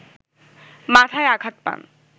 মাথায় আঘাত পান